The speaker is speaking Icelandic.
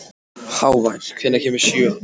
Hávar, hvenær kemur sjöan?